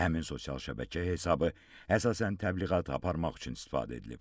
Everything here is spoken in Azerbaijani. Həmin sosial şəbəkə hesabı əsasən təbliğat aparmaq üçün istifadə edilib.